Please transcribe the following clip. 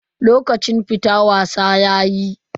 Lokacin fita wasa yayi.